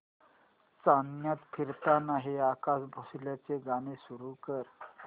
चांदण्यात फिरताना हे आशा भोसलेंचे गाणे सुरू कर